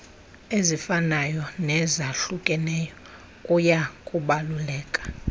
ezifanayo nezahlukeneyo kuyakubaluleka